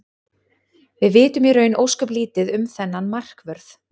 Við vitum í raun ósköp lítið um þennan markvörð.